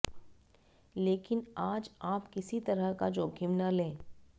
लेकिन आज आप किसी तरह का जोखिम न लें